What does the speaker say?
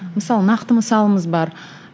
мысалы нақты мысалымыз бар